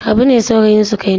Habu ne saurayin Sukainatu.